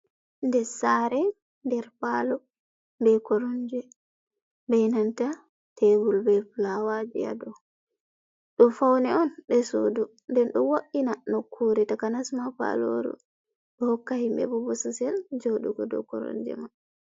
Nder sare nder palo be koromje be nanta tebul be flawaji ha dow, ɗo faune on ɗe suudu nden do wo’ina nokkure takanasma paloru, ɗo hokka himɓe bo bososel joɗugo dow koromje ma.